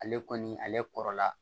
Ale kɔni ale kɔrɔla